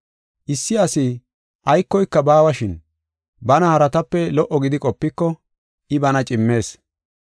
Issi asi aykoyka baawashin, bana haratape lo77o gidi qopiko, I bana cimmees.